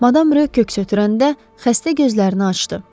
Madam rö köks ötürəndə xəstə gözlərini açdı.